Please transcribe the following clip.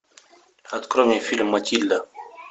открой мне фильм матильда